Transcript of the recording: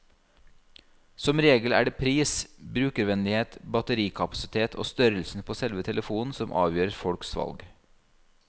Som regel er det pris, brukervennlighet, batterikapasitet og størrelsen på selve telefonen som avgjør folks valg.